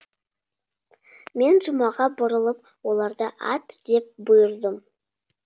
мен жұмаға бұрылып оларды ат деп бұйырдым